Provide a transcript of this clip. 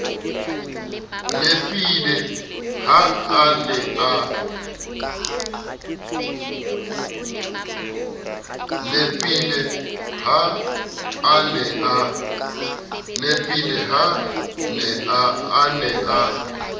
nepile ha a ne a